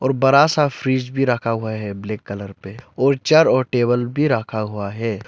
वो बड़ा सा फ्रिज भी रखा हुआ है ब्लैक कलर पे और चार और टेबल भी रखा हुआ है।